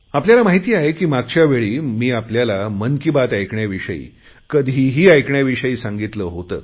आपल्याला माहित आहे की मागच्या वेळी मी आपल्याला मन की बात ऐकण्याविषयी कधीही ऐकण्याविषयी सांगितले होते